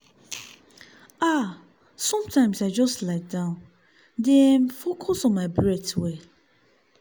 ah- sometimes i just lie down dey um focus on my breath well.